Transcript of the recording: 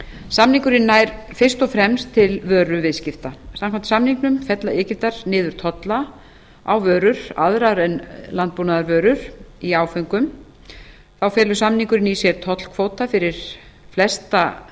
samningurinn nær fyrst og fremst til vöruviðskipta samkvæmt samningnum fella egyptar niður tolla á vörur aðrar en landbúnaðarvörur í áföngum þá felur samningurinn í sér tollkvóta fyrir flestar